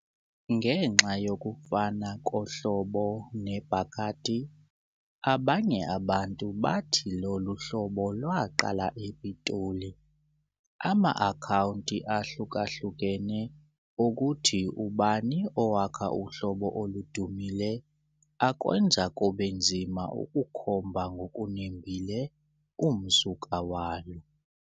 Ngenxa yokufana kohlobo ne-Bacardi, abanye abantu bathi lolu hlobo lwaqala ePitoli. Ama-akhawunti ahlukahlukene okuthi ubani owakha uhlobo oludumile akwenza kube nzima ukukhomba ngokunembile umsuka walo.